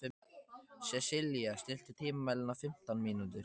Sesilía, stilltu tímamælinn á fimmtán mínútur.